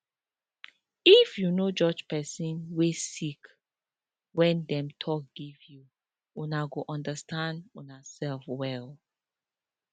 if you no judge pesin wey sick wen dem talk give you una go understand unasef well